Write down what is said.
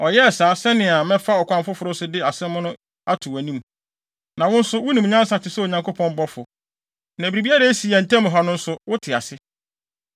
Ɔyɛɛ saa, sɛnea mɛfa ɔkwan foforo so de saa asɛm yi ato wʼanim. Na wo nso, wunim nyansa te sɛ Onyankopɔn bɔfo, na biribiara a esi yɛn ntam ha no nso, wote ase.”